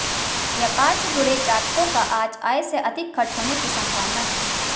व्यापार से जुड़े जातकों का आज आय से अधिक खर्च होने की संभावना है